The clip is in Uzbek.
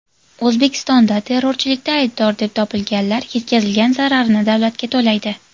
O‘zbekistonda terrorchilikda aybdor deb topilganlar yetkazilgan zararni davlatga to‘laydi.